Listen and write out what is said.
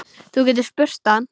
Þú getur spurt hann.